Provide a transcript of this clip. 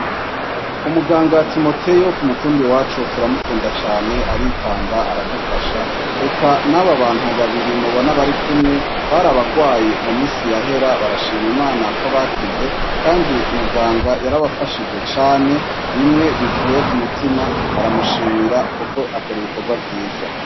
umuganga timoteyo ku mutumba wacu turamukunda cane aritanga aradufasha reka n'abo abantu babiri mubona bari kumwe barabagwayi mu minsi ya hera barashima imana ko bakize kandi muganga yarabafashije cane bimwe bivuye ku mutima baramushimira kuko akora ibikorwa vyiza